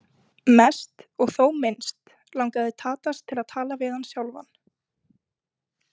Mest og þó minnst langaði Tadas til að tala við hann sjálfan.